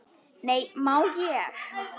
Nei, má ég!